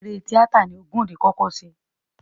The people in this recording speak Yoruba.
Eré tíátà ni Ògúndé kọ́kọ́ ṣe.